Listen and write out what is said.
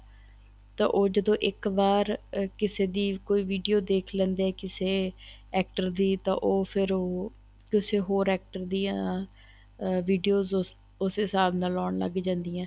ਤਾਂ ਉਹ ਜਦੋਂ ਇੱਕ ਵਾਰ ਕਿਸੇ ਦੀ ਕੋਈ video ਦੇਖ ਲੈਂਦੇ ਏ ਕਿਸੇ actor ਦੀ ਤਾਂ ਉਹ ਫ਼ੇਰ ਉਹ ਕਿਸੇ ਹੋਰ actor ਦੀਆਂ ਅਹ videos ਉਸੇ ਹਿਸਾਬ ਨਾਲ ਆਉਣ ਲੱਗ ਜਾਂਦੀਆਂ